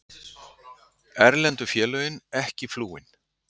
Erlendu félögin ekki flúin